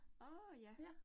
Nåh ja